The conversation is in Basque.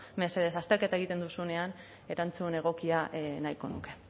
mesedez azterketa egiten duzunean erantzun egokia nahiko nuke